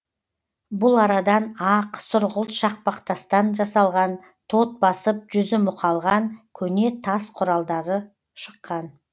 бұл арадан ақ сұрғылт шақпақ тастан жасалған тот басып жүзі мұқалған көне тас құралдары шыққан